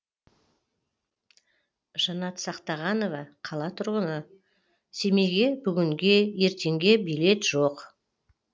жанат сақтағанова қала тұрғыны семейге бүгінге ертеңге билет жоқ